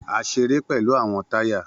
A ṣere pẹlu awọn taya